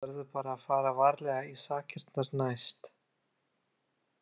Þú verður bara að fara varlegar í sakirnar næst.